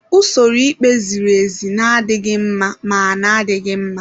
Usoro ikpe ziri ezi na-adịghị mma ma na-adịghị mma.